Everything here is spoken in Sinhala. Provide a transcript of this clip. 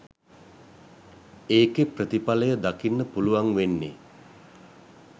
ඒකෙ ප්‍රතිඵලය දකින්න පුලුවන් වෙන්නේ